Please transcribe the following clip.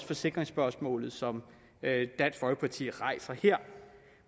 forsikringsspørgsmål som dansk folkeparti rejser her